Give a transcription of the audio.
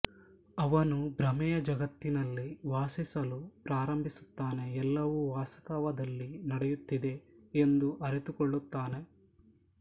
ಅವನು ಭ್ರಮೆಯ ಜಗತ್ತಿನಲ್ಲಿ ವಾಸಿಸಲು ಪ್ರಾರಂಭಿಸುತ್ತಾನೆ ಎಲ್ಲವೂ ವಾಸ್ತವದಲ್ಲಿ ನಡೆಯುತ್ತಿದೆ ಎಂದು ಅರಿತುಕೊಳ್ಳುತ್ತಾನೆ